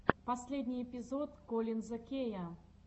последний эпизод коллинза кея